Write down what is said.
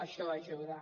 això ajuda